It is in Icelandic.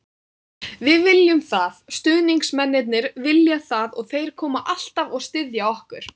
Við viljum það, stuðningsmennirnir vilja það og þeir koma alltaf og styðja okkur.